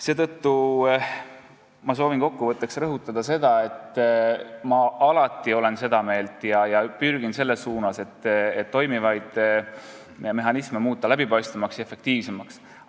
Kokku võttes ma soovin rõhutada seda, et ma olen alati seda meelt ja pürgin selles suunas, et toimivaid mehhanisme läbipaistvamaks ja efektiivsemaks muuta.